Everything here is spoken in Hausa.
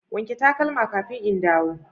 wanke takalma kafin in dawo.